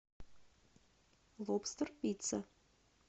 лобстер пицца